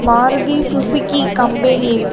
Maruti Suzuki company இருக்கு.